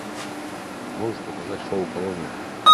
можешь показать шоу колония